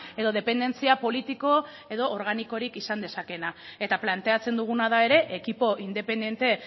edo dependentzia politiko edo organikorik izan dezakeena eta planteatzen duguna da ere ekipo independente